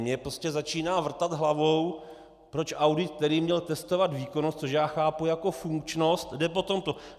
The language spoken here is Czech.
Mně prostě začíná vrtat hlavou, proč audit, který měl testovat výkonnost, což já chápu jako funkčnost, jde po tomto.